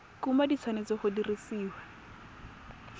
kumo di tshwanetse go dirisiwa